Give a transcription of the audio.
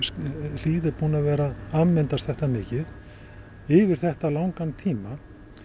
hlíð er búin að vera afmyndast þetta mikið yfir þetta langan tíma